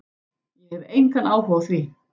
Ég hef engan áhuga á því.